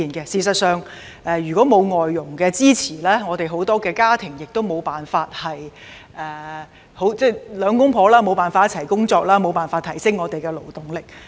事實上，如果沒有外傭的支持，很多家庭都無法讓夫妻二人都上班工作，因而無法提升我們的勞動力。